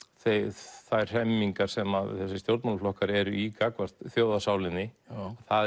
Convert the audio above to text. þær hremmingar sem þessir stjórnmálaflokkar eru í gagnvart þjóðarsálinni það